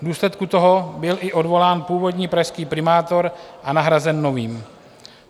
V důsledku toho byl i odvolán původní pražský primátor a nahrazen novým.